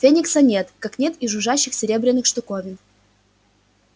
феникса нет как нет и жужжащих серебряных штуковин